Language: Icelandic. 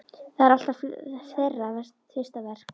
Það er alltaf þeirra fyrsta verk.